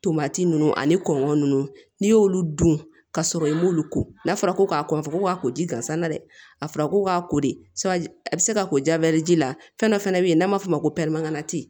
Tomati ninnu ani kɔnkɔn ninnu n'i y'olu dun ka sɔrɔ i m'olu ko n'a fɔra ko k'a kɔ fɔ k'u ka ko ji gansan na dɛ a fɔra ko k'a ko de a bɛ se ka ko jaberiyɛri la fɛn dɔ fana bɛ yen n'a m'a fɔ o ma ko